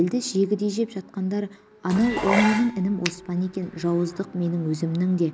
елді жегідей жеп жатқандар анау ол менің інім оспан екен жауыздық менің өзімнің де